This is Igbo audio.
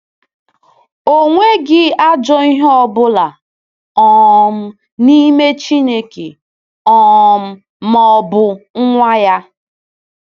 Enweghị ajọ ihe ọ bụla um n’ime Chineke um ma ọ bụ Nwa ya!